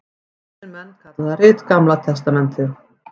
Kristnir menn kalla það rit Gamla testamentið.